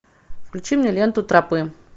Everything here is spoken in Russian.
включи мне ленту тропы